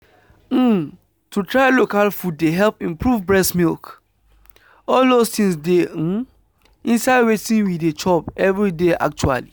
um to try local food dey help improve breast milk. all those things dey um inside wetin we dey chop every day… actually.